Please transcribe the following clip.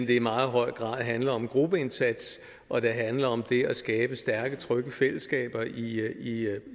det i meget høj grad handler om gruppeindsats og det handler om det at skabe stærke trygge fællesskaber i